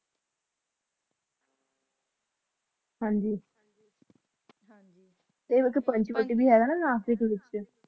ਹਾਂਜੀ ਹਾਂਜੀ ਤੇ ਪੰਚਵਟੀ ਭੀ ਹੈ ਨਾ ਉਥੇ ਨਾਸਿਕ ਦੇ ਵਿਚ